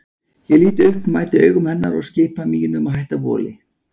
Ég lít upp, mæti augum hennar og skipa mínum að hætta voli.